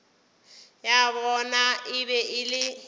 ya bona e be e